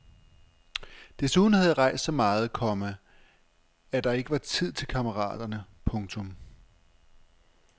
Desuden havde jeg rejst så meget, komma at der ikke var tid til kammeraterne. punktum